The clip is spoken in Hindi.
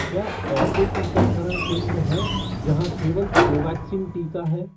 क्या ऐसे टीकाकरण केंद्र हैं जहाँ केवल कोवैक्सीन टीका है?